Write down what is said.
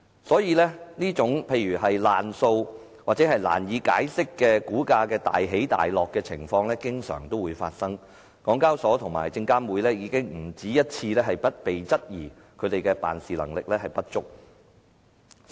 所以，例如"爛數"或難以解釋的股價大起大落的情況經常發生，而港交所及證監會已經不止一次被質疑辦事能力不足。